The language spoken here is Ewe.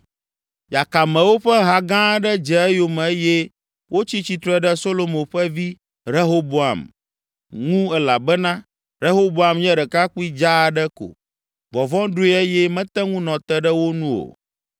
Yakamewo ƒe ha gã aɖe dze eyome eye wotsi tsitre ɖe Solomo ƒe vi, Rehoboam, ŋu elabena Rehoboam nye ɖekakpui dzaa aɖe ko, vɔvɔ̃ ɖoe eye mete ŋu nɔ te ɖe wo nu o.